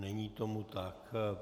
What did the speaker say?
Není tomu tak.